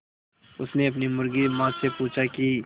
उसने अपनी मुर्गी माँ से पूछा की